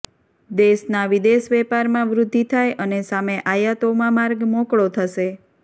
દેશના વિદેશ વેપારમાં વૃદ્ધિ થાય અને સામે આયાતોમાં માર્ગ મોકળો થશે